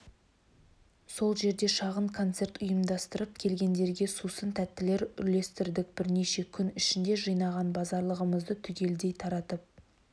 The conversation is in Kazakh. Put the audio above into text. сол жерде шағын концерт ұйымдастырып келгендерге сусын тәттілер үлестірдік бірнеше күн ішінде жинаған базарлығымызды түгелдей таратып